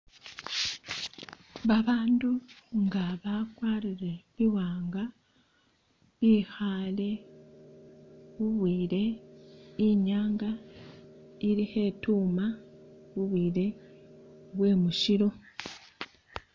Babandu nga bakwarile biwanga bikhale bubwile inyanga ili khetuma bubwile bwemushilo